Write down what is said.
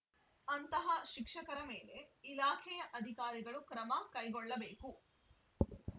ಅಂತಹ ಶಿಕ್ಷಕರ ಮೇಲೆ ಇಲಾಖೆಯ ಅಧಿಕಾರಿಗಳು ಕ್ರಮ ಕೈಗೊಳ್ಳಬೇಕು